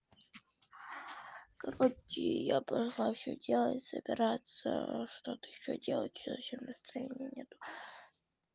короче я пошла всё делать собираться что-то ещё делать совсем настроения нет